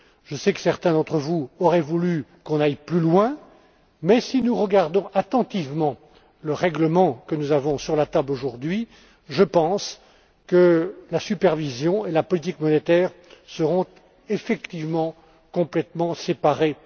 Je sais que certains d'entre vous auraient voulu qu'on aille plus loin, mais si nous regardons attentivement le règlement que nous avons sur la table aujourd'hui, je pense que, dans la pratique, la supervision et la politique monétaire seront effectivement complètement séparées.